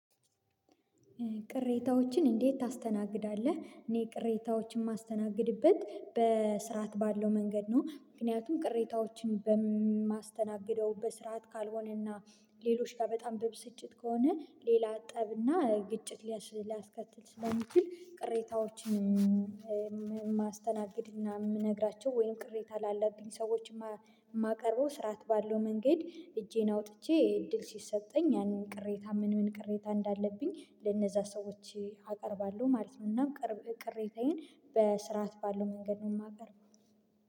ቅሬታዎችን እንዴት ታስተናግዳለህ? እኔ ቅሬታዎችን የማስተናግድበት በስርዓት ባለው መንገድ ነው ምክንያቱም ቅሬታዎችን በማስተናገደው በስርዓት ካልሆነና ሌሎች ጋር በጣም በብስጭት ከሆነ ሌላ ጠብና ግጭት ሊያስከትል ስለሚችል ቅሬታዎችን የማስተናግድ የምነግራቸው ወይም ቅሬታ ላለብኝ ሰዎች የማቀርበው ስርዓት ባለው መንገድ እጄን አውጥቼ እድል ሲሰጠኝ ያንን ቅሬታ ምን ምን ቅሬታ እንዳለብኝ ለእነዛ ሰዎች አቀርባለሁ ማለት ነው። እና ቅሬታዬን በስርዓት ባለው መንገድ ነው የማቀርበው።